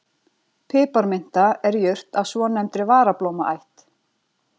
Piparminta er jurt af svonefndri varablómaætt.